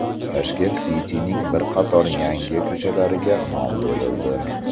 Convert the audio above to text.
Tashkent City’ning bir qator yangi ko‘chalariga nom berildi.